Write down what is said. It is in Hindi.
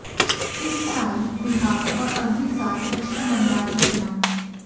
इस साल बिहार और अगली साल पश्चिम बंगाल में चुनाव